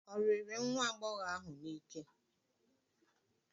Ọ riri nwa agbọghọ ahụ n'ike?